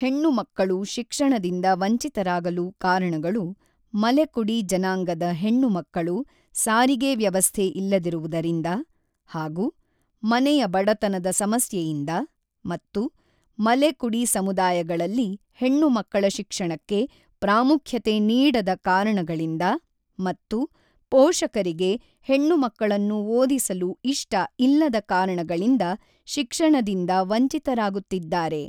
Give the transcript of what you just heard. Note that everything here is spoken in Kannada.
ಹೆಣ್ಣು ಮಕ್ಕಳು ಶಿಕ್ಷಣದಿಂದ ವಂಚಿತರಾಗಲು ಕಾರಣಗಳು ಮಲೆಕುಡಿ ಜನಾಂಗದ ಹೆಣ್ಣು ಮಕ್ಕಳು ಸಾರಿಗೆ ವ್ಯವಸ್ಥೆ ಇಲ್ಲದಿರುವುದರಿಂದ ಹಾಗೂ ಮನೆಯ ಬಡತನದ ಸಮಸ್ಯೆಯಿಂದ ಮತ್ತು ಮಲೆ ಕುಡಿ ಸಮುದಾಯಗಳಲ್ಲಿ ಹೆಣ್ಣು ಮಕ್ಕಳ ಶಿಕ್ಷಣಕ್ಕೆ ಪ್ರಾಮುಖ್ಯತೆ ನೀಡದ ಕಾರಣಗಳಿಂದ ಮತ್ತು ಪೋಷಕರಿಗೆ ಹೆಣ್ಣು ಮಕ್ಕಳನ್ನು ಓದಿಸಲು ಇಷ್ಟಇಲ್ಲದ ಕಾರಣಗಳಿಂದ ಶಿಕ್ಷಣದಿಂದ ವಂಚಿತರಾಗುತ್ತಿದ್ದಾರೆ.